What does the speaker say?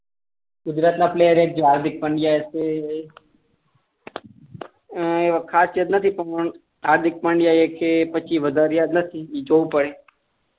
ગુજરાત ની પ્લેયર મા હાર્દિક પંડ્યા હશે ખાસ યાદ નથી પણ હાર્દિક પંડ્યા એક છે બધા યાદ નથી બીજો હોય કોઈ